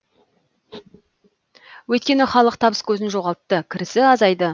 өйткені халық табыс көзін жоғалтты кірісі азайды